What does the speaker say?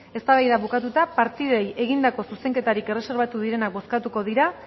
eztabaida bukatuta partidei egindako zuzenketarik erreserbatu direnak bozkatuko dira